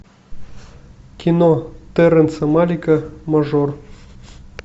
кино терренса малика мажор